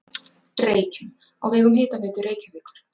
Reykjum á vegum Hitaveitu Reykjavíkur.